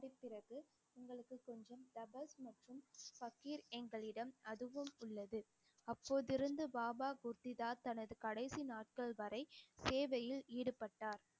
உங்களுக்கு கொஞ்சம் எங்களிடம் அதுவும் உள்ளது அப்போது இருந்து பாபா குர்திதா தனது கடைசி நாட்கள் வரை சேவையில் ஈடுபட்டார்